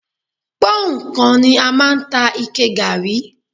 Pọ́nhùn kan ni a máa ta ike gààrí